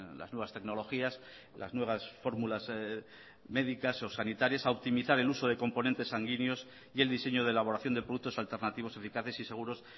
las nuevas tecnologías las nuevas fórmulas medicas o sanitarias a optimizar el uso de componentes sanguíneos y el diseño de elaboración de productos alternativos eficaces y seguros